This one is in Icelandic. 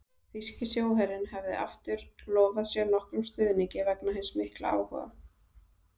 Þýski sjóherinn hefði aftur lofað sér nokkrum stuðningi vegna hins mikla áhuga